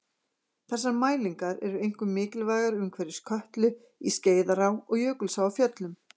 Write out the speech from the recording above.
Þessar mælingar eru einkum mikilvægar umhverfis Kötlu, í Skeiðará og Jökulsá á Fjöllum.